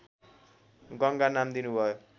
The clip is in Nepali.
गङ्गा नाम दिनुभयो